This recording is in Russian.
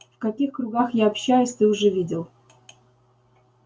в каких кругах я общаюсь ты уже видел